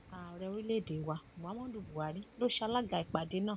ààrẹ orílẹèdè wa muhammadu buhari ló ṣalaga ìpàdé náà